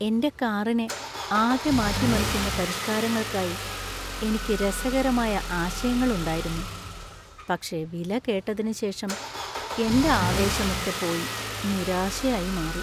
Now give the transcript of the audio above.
എന്‍റെ കാറിനെ ആകെ മാറ്റിമറിക്കുന്ന പരിഷ്കാരങ്ങൾക്കായി എനിക്ക് രസകരമായ ആശയങ്ങൾ ഉണ്ടായിരുന്നു, പക്ഷേ വില കേട്ടതിനുശേഷം, എന്‍റെ ആവേശമൊക്കെ പോയി നിരാശയായി മാറി.